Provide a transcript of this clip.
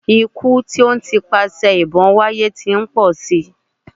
Ikú tí ó ń ti ipasẹ̀ ìbọn wáyé tí ń pọ̀ si.